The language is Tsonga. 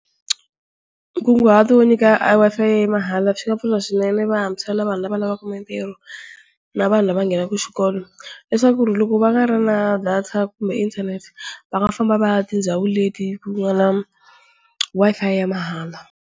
Nkunguhato wo nyika Wi-Fi ya mahala swi nga pfuna swinene vantshwa, na vanhu lava va lavaka mitirho, na vanhu lava nghenaka xikolo. Leswaku loko va nga ri na data kumbe inthanete va nga famba va ya tindhawini leti ku nga na Wi-Fi ya mahala.